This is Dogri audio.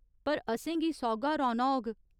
पर असेंगी सौह्‌गा रौह्‌‌‌ना होग।